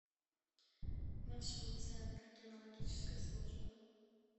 маршрут центр кинологической службы